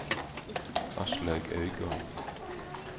Aslaug Øygarden